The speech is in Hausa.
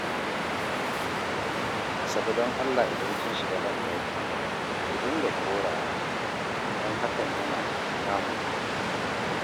Asabe don Allah idan kin shiga banɗaki ki dinga korawa, don hakan yana damun mu